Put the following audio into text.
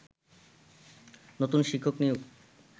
নতুন শিক্ষক নিয়োগ